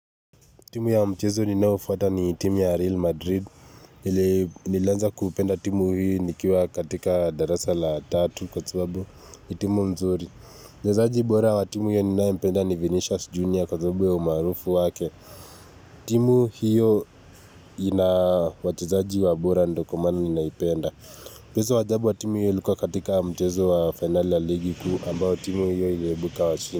Timu ya mchezo ninaofuata ni timu ya Real Madrid. Ile nilanza kupenda timu hii nikiwa katika darasa la tatu kwa sababu. Ni timu nzuri. Mchezaji bora wa timu hiyo ninaempenda ni Vinicius Junior kwa sababu ya umaarufu wake. Timu hiyo ina wachezaji wa bora ndo kwa maana ninaipenda. Mchezo wa ajabu watimu hiyo ilukuwa katika mchezo wa finale la ligi kuu ambao timu hiyo iliebuka washindi.